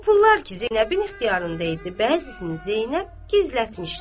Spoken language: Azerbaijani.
O pullar ki Zeynəbin ixtiyarında idi, bəzisini Zeynəb gizlətmişdi.